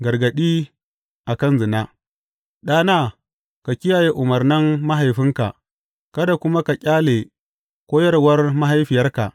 Gargaɗi a kan zina Ɗana, ka kiyaye umarnan mahaifinka kada kuma ka ƙyale koyarwar mahaifiyarka.